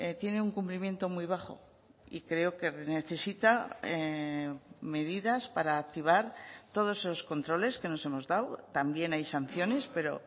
tiene un cumplimiento muy bajo y creo que necesita medidas para activar todos esos controles que nos hemos dado también hay sanciones pero